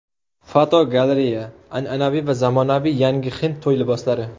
Fotogalereya: An’anaviy va zamonaviy yangi hind to‘y liboslari.